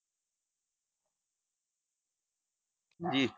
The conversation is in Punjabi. ਹਾਂਜੀ।